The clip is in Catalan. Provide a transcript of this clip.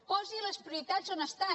posi les prioritats on estan